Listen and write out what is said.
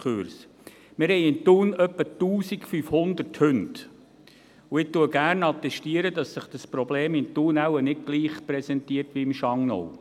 Wir haben in Thun etwa 1500 Hunde, und ich attestiere gerne, dass sich dieses Problem in Thun wohl nicht gleich präsentiert wie im Schangnau.